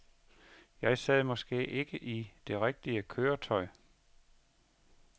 Jeg sad måske ikke i det rigtige køretøj.